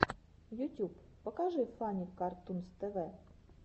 ютюб покажи фанни картунс тв